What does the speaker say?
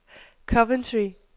Coventry